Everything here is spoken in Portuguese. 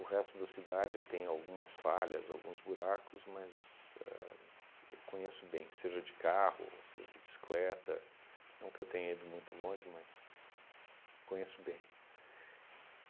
resto da cidade tem algumas falhas, alguns buracos, mas éh eu conheço bem, seja de carro, seja de bicicleta, não que eu tenha ido muito longe, mas conheço bem.